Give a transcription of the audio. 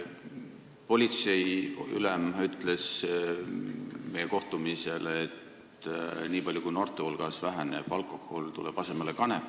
Politseiülem ütles meie kohtumisel, et niisama palju, kui noorte hulgas väheneb alkoholi tarbimine, tuleb asemele kanep.